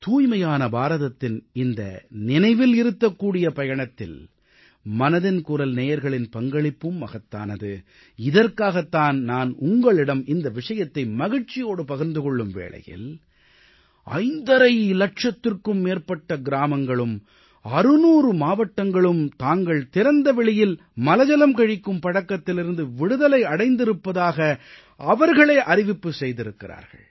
தூய்மையான பாரதத்தின் இந்த நினைவில் நிறுத்தக்கூடிய பயணத்தில் மனதின் குரல் நேயர்களின் பங்களிப்பும் மகத்தானது இதற்காகத் தான் நான் உங்களிடம் இந்த விஷயத்தை மகிழ்ச்சியோடு பகிர்ந்து கொள்ளும் வேளையில் ஐந்தரை இலட்சத்திற்கும் மேற்பட்ட கிராமங்களும் 600 மாவட்டங்களும் தாங்கள் திறந்த வெளியில் மலஜலம் கழிக்கும் பழக்கத்திலிருந்து விடுதலை அடைந்திருப்பதாக அவர்களே அறிவிப்பு செய்திருக்கிறார்கள்